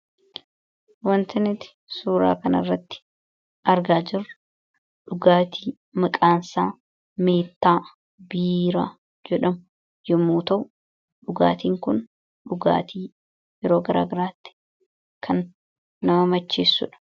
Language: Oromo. Wanti nuti suuraa kanarratti argaa jirru dhugaatii maqaan isaa Meettaa Biiraa jedhamu yommuu ta'u, dhugaatiin kun dhugaatii yeroo garaagaraatti kan nama macheessuudha.